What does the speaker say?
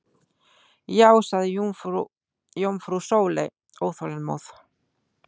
Já sagði jómfrú Sóley óþolinmóð.